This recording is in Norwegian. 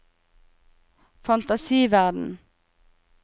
fantasiverden